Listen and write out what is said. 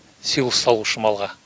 силос салу үшін малға